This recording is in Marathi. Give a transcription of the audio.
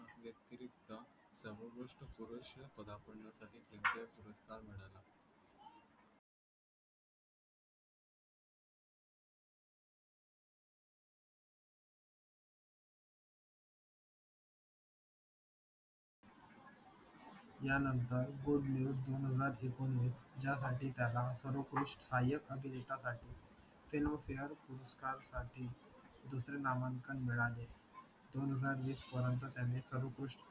यानंतर गुड न्यूज दोन हजार येकोन्वीस यासाठी त्याला सर्वोपृष्ठ सहाय्यक अभिनेता आहे ते नाव शेअर पुरस्कार साठी दुसरे नामांकन मिळाले दोन हजार वीस पर्यंत त्यांनी सर्व